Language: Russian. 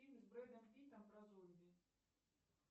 фильм с бредом питтом про зомби